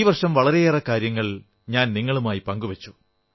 ഈ വർഷം വളരെയേറെ കാര്യങ്ങൾ ഞാൻ നിങ്ങളുമായി പങ്കുവച്ചു